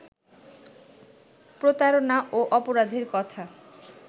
প্রতারণা ও অপরাধের কথা